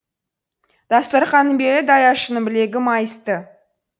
дастарқанның белі даяшының білегі майысты